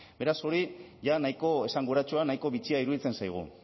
beraz hori jada nahiko esanguratsua nahiko bitxia iruditzen zaigu